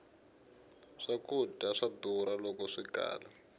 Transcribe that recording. swkudya swa durha loko swikala